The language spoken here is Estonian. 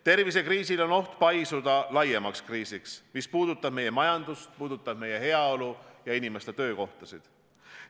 Tervisekriisil on oht paisuda laiemaks kriisiks, mis puudutab meie majandust, puudutab meie heaolu ja inimeste töökohtasid.